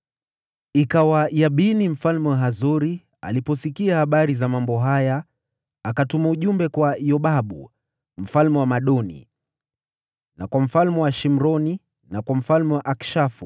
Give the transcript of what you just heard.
Ikawa Yabini mfalme wa Hazori aliposikia habari za mambo haya, akatuma ujumbe kwa Yobabu mfalme wa Madoni, na kwa mfalme wa Shimroni, na kwa mfalme wa Akishafu,